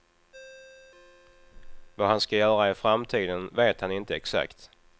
Vad han ska göra i framtiden vet han inte exakt.